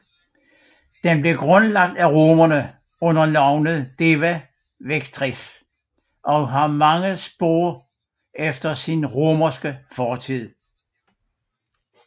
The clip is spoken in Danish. Den blev grundlagt af romerne under navnet Deva Victrix og har mange spor efter sin romerske fortid